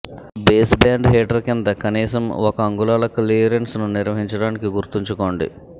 baseband heater కింద కనీసం ఒక అంగుళాల క్లియరెన్స్ను నిర్వహించడానికి గుర్తుంచుకోండి